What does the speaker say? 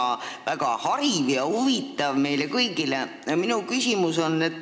See oli väga hariv ja huvitav meile kõigile.